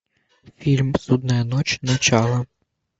фильм судная ночь начало